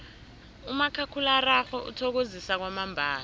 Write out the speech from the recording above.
umakhakhulararhwe uthokozisa kwamambala